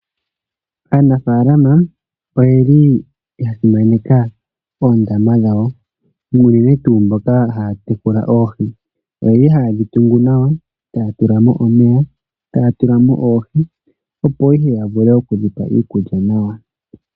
Aanafalama oye li ya simaneka oondama dhawo uunene tuu mboka haa tekula oohi oye li hayedhi tungu nawa taya tula mo omeya taya tula mo oohi, opo ihe ya vule okudhipa iikulya nawa.